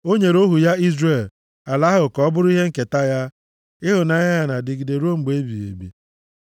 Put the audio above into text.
O nyere ohu ya Izrel ala ahụ ka ọ bụrụ ihe nketa ha, Ịhụnanya ya na-adịgide ruo mgbe ebighị ebi.